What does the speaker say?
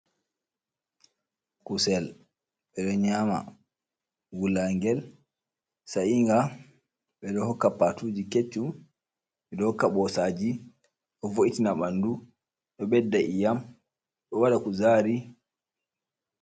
Kusel ɓeɗo nyama wulangel sa'inga, ɓeɗo hokka patuji keccum ɓeɗo hokka ɓosaji, ɗo vo’itina bandu ɗo ɓedda e'am ɗo waɗa kuzari.